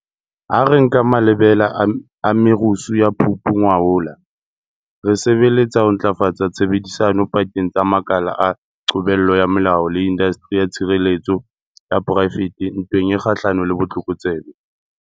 Ha re nka malebela a merusu ya Phupu ngwahola, re sebeletsa ho ntlafatsa tshebedisano pakeng tsa makala a qobello ya molao le indasteri ya tshireletso ya poraefete ntweng e kgahlanong le botlokotsebe.